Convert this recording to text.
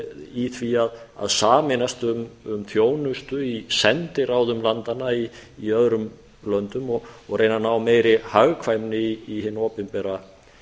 í því að sameinast um þjónustu í sendiráðum landanna í öðrum löndum og reyna að ná meiri hagkvæmni í hinn opinbera